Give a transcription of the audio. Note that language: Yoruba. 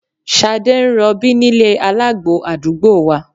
Ṣadé ń rọbí nílé alágbo àdúgbò wa